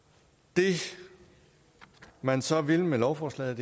det man så vil med lovforslaget